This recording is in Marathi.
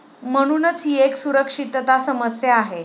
म्हणूनच ही एक सुरक्षितता समस्या आहे.